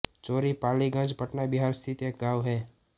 चौरी पालीगंज पटना बिहार स्थित एक गाँव है